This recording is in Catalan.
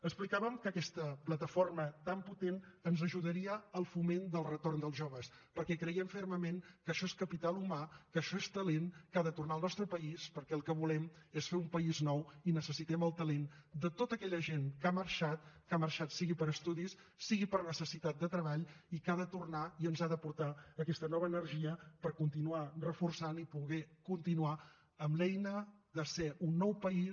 explicàvem que aquesta plataforma tan potent ens ajudaria al foment del retorn dels joves perquè creiem fermament que això és capital humà que això és talent que ha de tornar al nostre país perquè el que volem és fer un país nou i necessitem el talent de tota aquella gent que ha marxat que ha marxat sigui per estudis sigui per necessitat de treball i que ha de tornar i ens ha de portar aquesta nova energia per continuar reforçant i poder continuar amb l’eina de ser un nou país